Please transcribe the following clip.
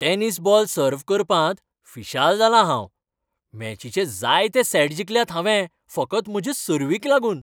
Tennis ball सर्व करपांत फिशाल जालां हांव. मॅचीचे जायते सॅट जिखल्यात हांवें फकत म्हजे सर्व्हीक लागून.